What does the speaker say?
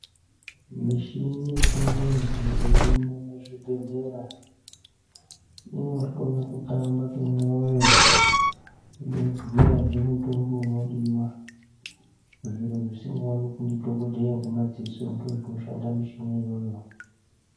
Mishini yechingezi irimuzvibhedlera inohloya kutamba kwemoyo ,inobhuya zvemitombo unodiwa, zvinhu zvisingawonekwi ndidhogodheya ngemaziso ndozvinoshandamishini iyoyo.